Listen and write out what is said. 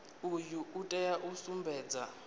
uyu u tea u sumbedza